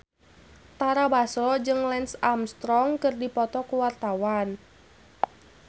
Tara Basro jeung Lance Armstrong keur dipoto ku wartawan